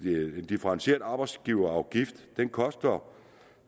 differentieret arbejdsgiverafgift koster